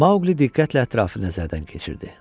Maqli diqqətlə ətrafını nəzərdən keçirdi.